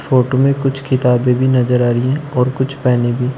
Photo में कुछ किताबें भी नजर आ रही है और कुछ पैने भी।